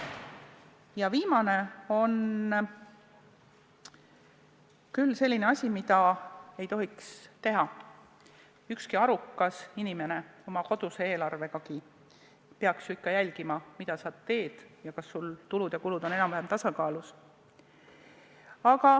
See viimane on küll selline asi, mida ei tohiks teha ükski arukas inimene, oma koduse eelarvegagi peaks ju ikka jälgima, mida sa teed ja kas sul tulud ja kulud on enam-vähem tasakaalus.